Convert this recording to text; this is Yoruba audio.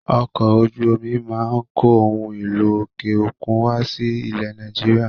Ọkọ̀ ojú omi máa ń kó ohun èlò òkè òkun wá sí ilẹ̀ Nàìjíríà.